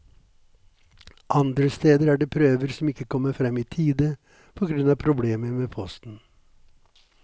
Andre steder er det prøver som ikke kommer frem i tide på grunn av problemer med posten.